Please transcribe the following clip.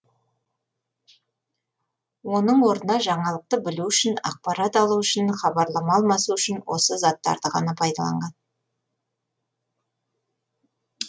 оның орнына жаңалықты білу үшін ақпарат алу үшін хабарлама алмасу үшін осы заттарды ғана пайдаланған